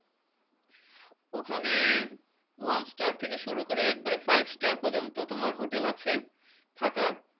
ওখানে one star থেকে শুরু করে একবারে five star পর্যন্ত তোমার হোটেল আছে থাকার